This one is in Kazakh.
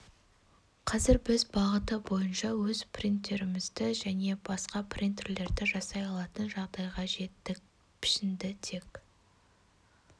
қазір біз бағыты бойынша өз принтерімізді немесе жаңа принтерлерді жасай алатын жағдайға жеттік пішінді тек